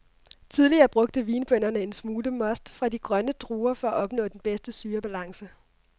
Tidligere brugte vinbønderne en lille smule most fra de grønne druer for at opnå den bedste syrebalance.